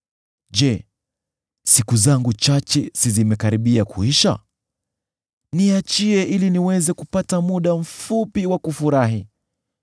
Je, siku zangu chache si zimekaribia kuisha? Niachie ili niweze kupata muda mfupi wa kufurahi